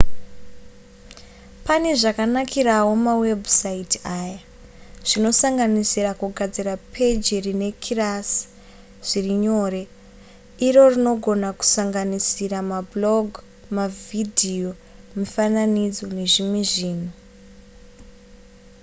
pane zvakanakirawo mawebhusaiti aya zvinosanganisira kugadzira peji rekirasi zviri nyore iro rinogona kusanganisira mablog mavhidhiyo mifananidzo nezvimwe zvinhu